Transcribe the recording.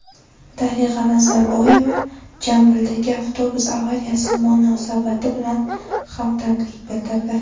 Darig‘a Nazarboyeva Jambildagi avtobus avariyasi munosabati bilan hamdardlik bildirdi.